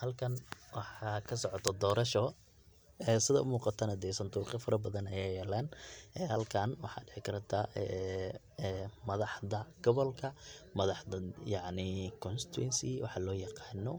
Halkan waxaa kasocoto dorosho, ee sida umuuqatana santuqyo fara badan aya yaalann halkan waxaa dhici karata madaxda gabolka madaxda, madaxda yacni constituency waxa loo yaqaano